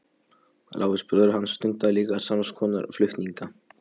Lárus bróðir hans stundaði líka sams konar flutninga.